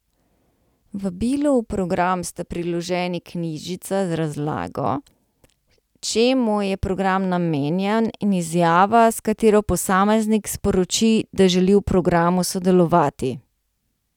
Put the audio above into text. Vabilu v program sta priloženi knjižica z razlago, čemu je program namenjen, in izjava, s katero posameznik sporoči, da želi v programu sodelovati.